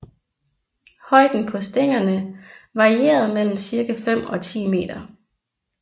Højden på stængerne varierede mellem cirka fem og ti meter